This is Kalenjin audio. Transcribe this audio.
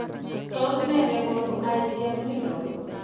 Tos nee negonu Igm syndrome ?